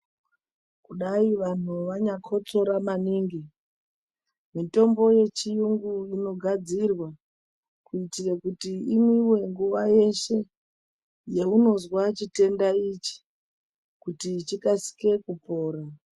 Kudai vanhu vanyakhotsora maningi, mitombo yechiyungu inogadzirwa, kuitire kuti imwiwe nguva yeshe, yaunozwa chitenda ichi kuti chikasike kupora.